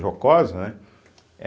Jocosa, né? é